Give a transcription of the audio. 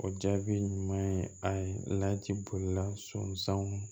O jaabi ɲuman ye a ye ci bolila sɔn sanw